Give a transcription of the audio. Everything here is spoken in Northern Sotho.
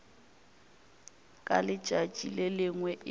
ka letšatši le lengwe e